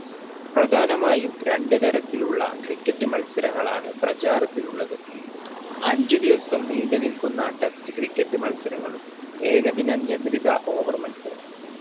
പ്രധാനമായും രണ്ട് തരത്തിലുള്ള cricket മത്സരങ്ങളാണ് പ്രചാരത്തിലുള്ളത്. അഞ്ചു ദിവസം നീണ്ട് നിൽക്കുന്ന test cricket മത്സരങ്ങളും ഏകദിന നിയന്ത്രിത over മത്സരങ്ങളും